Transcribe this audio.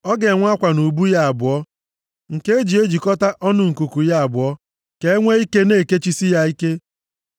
Ọ ga-enwe akwa nʼubu ya abụọ nke e ji ejikọta ọnụ nkuku ya abụọ, ka e nwe ike na-ekechisi ya ike.